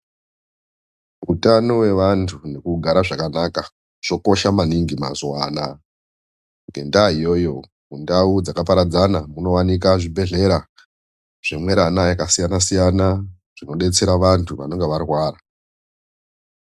Utano hwevantu nekugara zvakanaka zvokosha maningi mazuwa anaya ngendaa iyoyo ndau dzakaparadzana inooneka zvibhedhlera zvemwerana yakasiyana zvinodetsera vantu vanenge varwara .